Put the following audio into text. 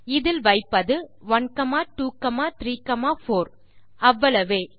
இதில் வைப்பது 1234 அவ்வளவே